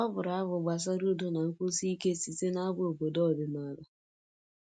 Ọ bụrụ abụ gbasara udo na nkwụsi ike site n'abụ obodo ọdịnala